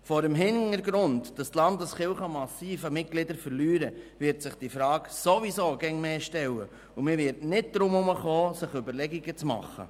Vor dem Hintergrund, dass die Landeskirchen massiv an Mitgliedern verlieren, wird sich diese Frage ohnehin immer mehr stellen, und man wird nicht darum herumkommen, sich dazu Überlegungen zu machen.